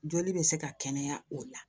Joli bɛ se ka kɛnɛya o la